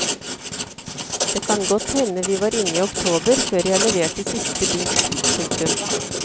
Det kan godt hende vi var inne i oktober før jeg leverte siste bit. punktum